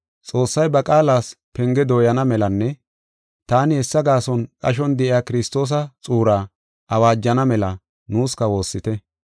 Xoossay ba qaalas penge dooyana melanne taani hessa gaason qashon de7iya Kiristoosa xuuraa awaajana mela nuuska woossite.